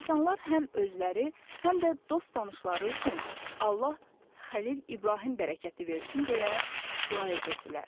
İnsanlar həm özləri, həm də dost-tanışları üçün Allah Xəlil İbrahim bərəkəti versin deyə dua edirdilər.